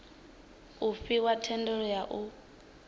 u fhiwa thendelo ya u